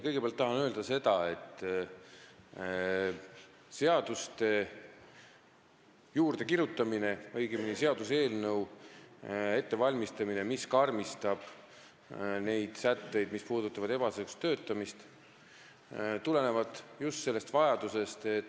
Kõigepealt tahan öelda, et selle seaduseelnõu ettevalmistamine, mis karmistab ebaseaduslikku töötamist puudutavaid sätteid, tuleneb just sellest vajadusest.